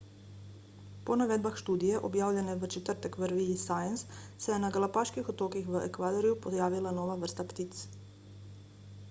po navedbah študije objavljene v četrtek v reviji science se je na galapaških otokih v ekvadorju pojavila nova vrsta ptic